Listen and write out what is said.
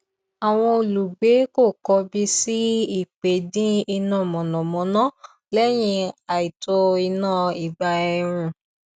àwọn olùgbé kò kọbi sí ípè dín iná mànàmáná lẹyìn àìtó iná ìgbà ẹrùn